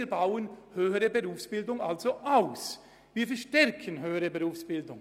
Wir bauen die höhere Berufsbildung somit aus und stärken sie.